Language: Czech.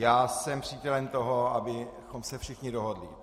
Já jsem přítelem toho, abychom se všichni dohodli.